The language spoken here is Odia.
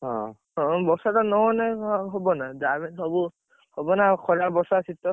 ହଁ, ହଁ, ବର୍ଷା ଟା ନହେନେ କଣ ଆଉ ହବନା ଯାହାବି ହେୟଲେ ସବୁ, ହବନା ଖରା ବର୍ଷା ଶୀତ।